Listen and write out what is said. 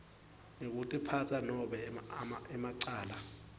ngekutiphatsa nobe emacala